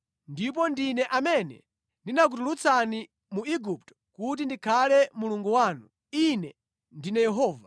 ndipo ndine amene ndinakutulutsani mu Igupto kuti ndikhale Mulungu wanu. Ine ndine Yehova.”